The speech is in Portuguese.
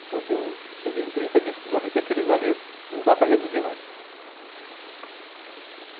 Então eu cheguei em trinta discos ali que aqueles ali não dá para reduzir mais.